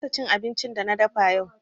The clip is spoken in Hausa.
Na kasa cin abincin da na dafa yau.